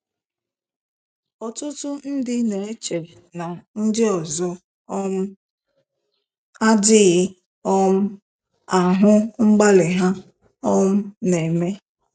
Ọtụtụ ndị na-eche na ndị ọzọ um adịghị um ahụ mgbalị ha um na-eme.